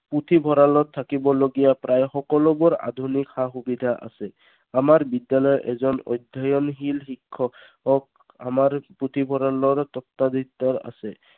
পুথিভঁৰালত থাকিবলগীয়া প্ৰায় সকলোবোৰ আধুনিক সা সুবিধা আছে। আমাৰ বিদ্যালয়ৰ এজন অধ্যয়নশীল শিক্ষক আমাৰ পুথিভঁৰালৰ আছে।